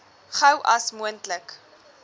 gou as moontlik